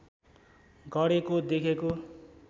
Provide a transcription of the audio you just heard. गरेको देखेको